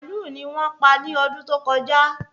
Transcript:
màálù ni wón pa ni ọdún tó kọjá